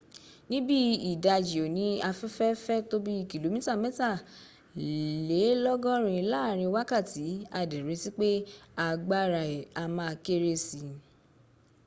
ní bí i ìdájí òní àfẹ́fẹ́ fẹ́ tó bí kìlómítà mẹ́tàlélọ́gọ́rin láàrin wákàtí a dẹ̀ retí pé agbára ẹ̀ á ma kéré sí